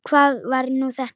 Hvað var nú þetta?